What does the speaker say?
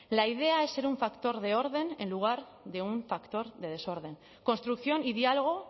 la idea es ser un factor de orden en lugar de un factor de desorden construcción y diálogo